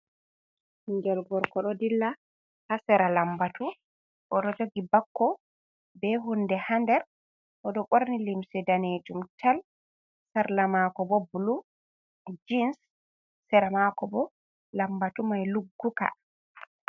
Ɓingel gorko ɗo dilla ha sera lambatu, o do jogi bakko be hunde ha nder. O ɗo borni limse daneejum tal, sarla mako bo blue jeans. Sera mako bo lambatu mai lugguka.